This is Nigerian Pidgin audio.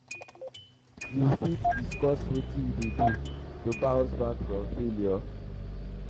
you fit discuss wetin you um dey do to bounce back from failure? um